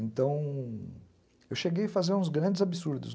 Então, eu cheguei a fazer uns grandes absurdos.